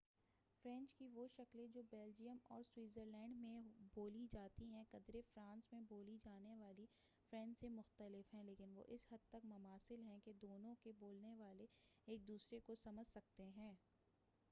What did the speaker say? French کی وہ شکلیں جو بلجیم اور سویزرلینڈ میں بولی جاتی ہیں قدرے فرانس میں بولی جانے والی فرینچ سے مختلف ہیں لیکن وہ اس حد تک مماثل ہیں کہ دونوں کے بولنے والے ایک دوسرے کو سمجھ سکتے ہیں